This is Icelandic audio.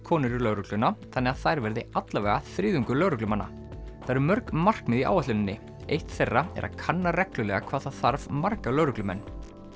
konur í lögregluna þannig að þær verði alla vega þriðjungur lögreglumanna það eru mörg markmið í áætluninni eitt þeirra er að kanna reglulega hvað það þarf marga lögreglumenn